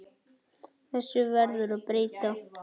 Þessu verður að breyta.